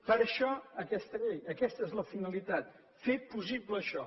per això aquesta llei aquesta és la finalitat fer possible això